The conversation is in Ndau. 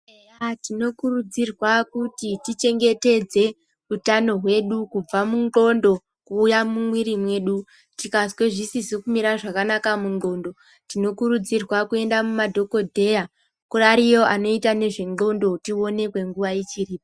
Antu tinokurudzirwa kuti tichengetedze hutano hwedu kubva mundxondo kuuya mumwiri mwedu tikazwa zvisizi kumira zvakanaka mundxondo tinokurudzirwa kuenda mumadhokodheya ariyo anoite nezvendxondo tionekwe nguwa ichiripo.